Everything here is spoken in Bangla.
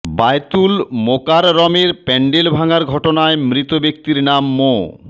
বায়তুল মোকাররমের প্যান্ডেল ভাঙার ঘটনায় মৃত ব্যক্তির নাম মো